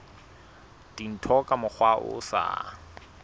dintho ka mokgwa o sa